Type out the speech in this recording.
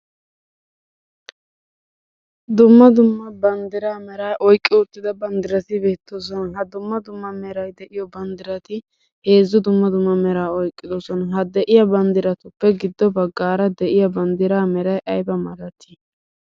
Dumma dumma banddraa meraa oyqqi uttida banddrati beettoosona. Ha dumma dumma meray de'iyo banddrati heezzu dumma dumma meraa oyqqidoosona. Ha de'iyaa banddratuppe giddo baggaara de'iya banddra meray aybba malati?